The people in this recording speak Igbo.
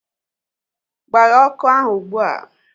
Gbaghee ọkụ ahu ụgbụa!